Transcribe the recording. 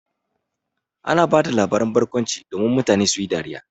Ana ba da labaran barkwanci domin mutane su yi dariya.